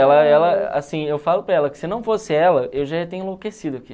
Ela ela, assim, eu falo para ela que se não fosse ela, eu já ia ter enlouquecido aqui